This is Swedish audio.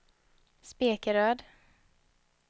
Spekeröd